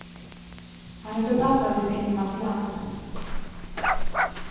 Han är förpassad till ett ingenmansland.